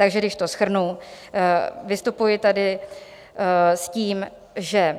Takže když to shrnu, vystupuji tady s tím, že